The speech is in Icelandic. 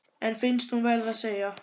En finnst hún verða að segja: